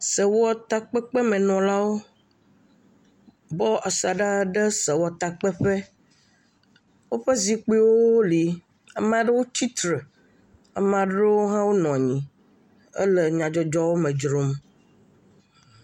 Sewɔtakpekpe me nɔlawo, bɔ asaɖa ɖe sewɔtakpeƒe, woƒe zikpuiwo li, ame aɖewo tsitre, ame aɖewo hã wonɔ anyi hele nya dzɔdzɔwo me dzrom.